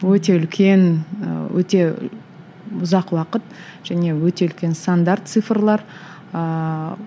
өте үлкен ііі өте ұзақ уақыт және өте үлкен сандар цифрлар ыыы